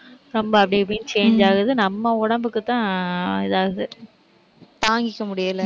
ரொம்ப அப்படி இப்படின்னு change ஆகுது. நம்ம உடம்புக்குத்தான் இது ஆகுது தாங்கிக்க முடியலை.